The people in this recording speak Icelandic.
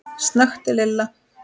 snökti Lilla.